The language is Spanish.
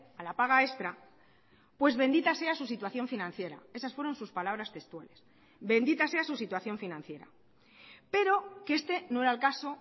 a la paga extra pues bendita sea su situación financiera esas fueron sus palabras textuales bendita sea su situación financiera pero que este no era el caso